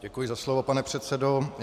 Děkuji za slovo, pane předsedo.